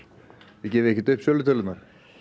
þið gefið ekkert upp sölutölurnar